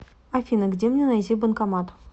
афина где мне найти банкомат